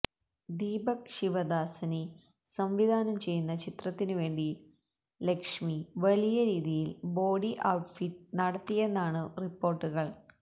ദീപക് ശിവദാസനി സംവിധാനം ചെയ്യുന്ന ചിത്രത്തിനു വേണ്ടി ലക്ഷ്മി വലിയ രീതിയില് ബോഡി ഔട്ട്ഫിറ്റ് നടത്തിയെന്നാണു റിപ്പോര്ട്ടുകള്